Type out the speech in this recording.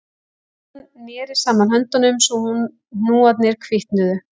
Konan neri saman höndunum svo hnúarnir hvítnuðu